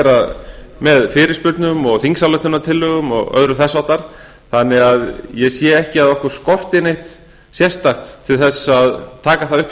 gera með fyrirspurnum og þingsályktunartillögum og öðru þess háttar þannig að ég sé ekki að okkur skorti neitt sérstakt til að taka það upp hjá